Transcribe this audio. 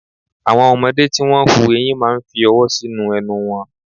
Àwọn ọmọdé tí wón ń hu ẹyin máa ń fi ọwọ́ sínú ẹnu wọn.